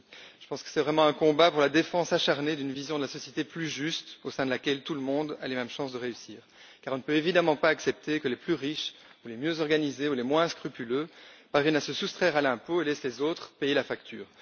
Je pense que c'est vraiment un combat pour la défense acharnée d'une vision de la société plus juste au sein de laquelle tout le monde a les mêmes chances de réussir, car on ne peut évidemment pas accepter que les plus riches, les mieux organisés ou les moins scrupuleux parviennent à se soustraire à l'impôt et laissent les autres payer la facture.